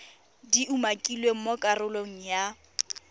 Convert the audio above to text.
di umakilweng mo karolong ya